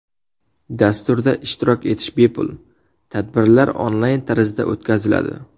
Dasturda ishtirok etish bepul, tadbirlar onlayn tarzda o‘tkaziladi.